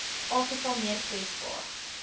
afrika meer kwesbaar